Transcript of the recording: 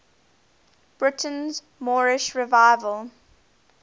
britain's moorish revival